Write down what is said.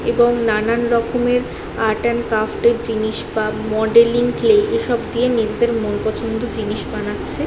এবং রকমের art and craft এর জিনিস বা মডেলিং ক্লে এসব দিয়ে নিজেদের মনপছন্দ জিনিস বানাচ্ছে --